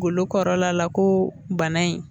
Golo kɔrɔla la ko bana in